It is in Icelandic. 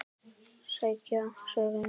Segja sögur.